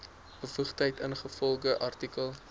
bevoegdheid ingevolge artikel